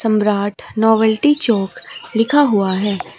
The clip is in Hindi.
सम्राट नोवेल्टी चौक लिखा हुआ है।